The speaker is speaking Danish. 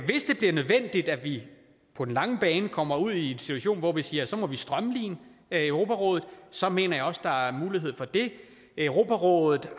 det bliver nødvendigt at vi på den lange bane kommer ud i en situation hvor vi siger at så må vi strømline europarådet så mener jeg også at der er mulighed for det europarådet har